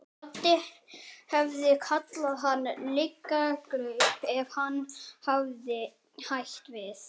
Doddi hefði kallað hann lygalaup ef hún hefði hætt við að koma.